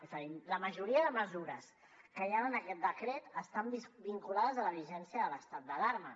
és a dir la majoria de mesures que hi han en aquest decret estan vinculades a la vigència de l’estat d’alarma